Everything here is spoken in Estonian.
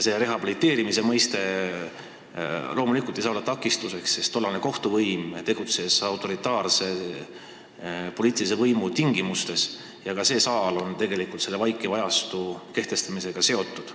Tollane kohtuvõim tegutses autoritaarse poliitilise võimu tingimustes ja ka see saal on tegelikult vaikiva ajastu kehtestamisega seotud.